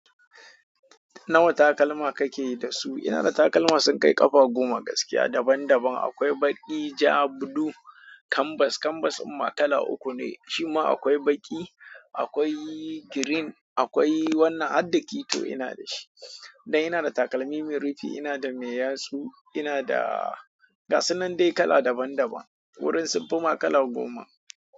Nawa takalma kake da su? Ina da takalma sun kai ƙafa goma gaskiya daban daban. Akwai baƙi, ja, buɗu, kambas, kambas amma kala uku ne. Shima akwai baƙi, akwai green, akwai wannan addakito ina da shi. Dan ina da takalmi mai rufi, ina da mai yatsu, inada ga su nan dai kala daban daban. Wurin sun fi ma kala goma.